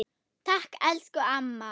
Takk, elsku amma.